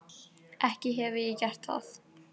Ekki hefi ég gert það.